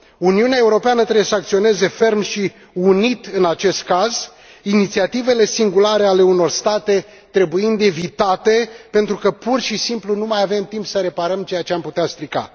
Uniunea Europeană trebuie să acționeze ferm și unit în acest caz, inițiativele singulare ale unor state trebuind evitate pentru că pur și simplu nu mai avem timp să reparăm ceea ce am putea strica.